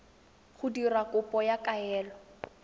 go dira kopo ya kaelo